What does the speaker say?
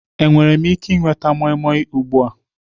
Enwere m ike ịnweta moimoi ugbu a?